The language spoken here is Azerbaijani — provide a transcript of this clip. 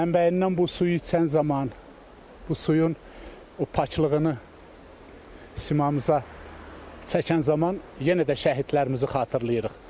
Mənbəyindən bu suyu içən zaman bu suyun o paklığını simamıza çəkən zaman yenə də şəhidlərimizi xatırlayırıq.